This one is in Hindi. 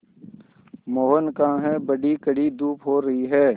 मोहन कहाँ हैं बड़ी कड़ी धूप हो रही है